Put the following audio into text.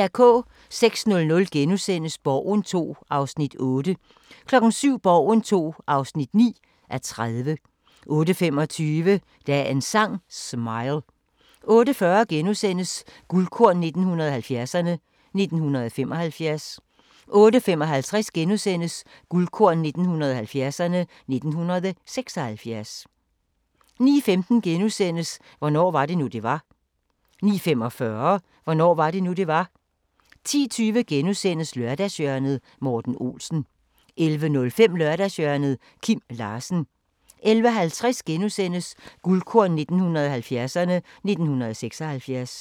06:00: Borgen II (8:30)* 07:00: Borgen II (9:30) 08:25: Dagens Sang: Smile 08:40: Guldkorn 1970'erne: 1975 * 08:55: Guldkorn 1970'erne: 1976 * 09:15: Hvornår var det nu, det var? * 09:45: Hvornår var det nu, det var? 10:20: Lørdagshjørnet - Morten Olsen * 11:05: Lørdagshjørnet – Kim Larsen 11:50: Guldkorn 1970'erne: 1976 *